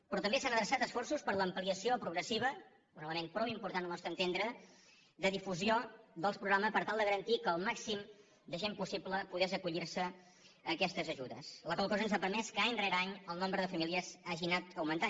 però també s’han adreçat esforços a l’ampliació progressiva un element prou important al nostre entendre de difusió dels programes per tal de garantir que el màxim de gent possible pogués acollirse a aquestes ajudes la qual cosa ens ha permès que any rere any el nombre de famílies hagi anat augmentant